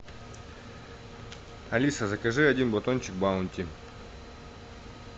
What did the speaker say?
алиса закажи один батончик баунти